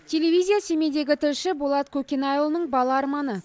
телевизия семейдегі тілші болат көкенайұлының бала арманы